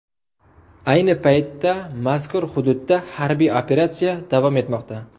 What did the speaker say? Ayni paytda mazkur hududda harbiy operatsiya davom etmoqda.